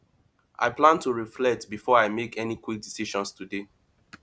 i plan to reflect before i make any quick decisions today